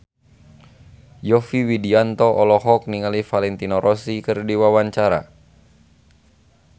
Yovie Widianto olohok ningali Valentino Rossi keur diwawancara